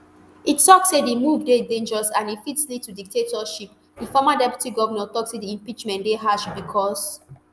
e tok say di move dey dangerous and e fit lead to dictatorship di former deputy govnor tok say di impeachment dey harsh becos